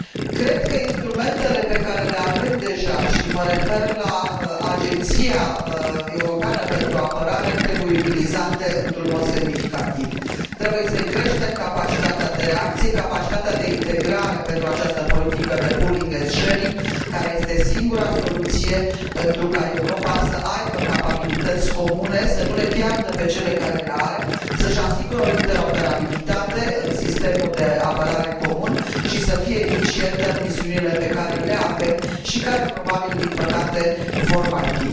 Cred că instrumentele pe care le avem deja și mă refer la Agenția Europeană pentru Apărare trebuie utilizate într un mod semnificativ trebuie să îi creștem capacitatea de reacție și capacitatea de integrare pentru această politică de pooling and sharing, care este singura soluție pentru ca Europa să aibă capabilități comune, să nu le piardă pe cele pe care le are, să și asigure o interoperabilitate în sistemul de apărare comun și să fie eficientă în misiunile pe care le are și care probabil, din păcate, vor mai fi.